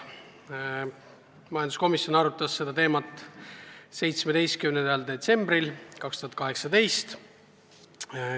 Majanduskomisjon arutas seda teemat 17. detsembril 2018.